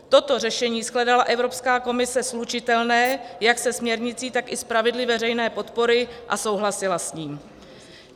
Toto řešení shledala Evropská komise slučitelné jak se směrnicí, tak i s pravidly veřejné podpory a souhlasila s ní.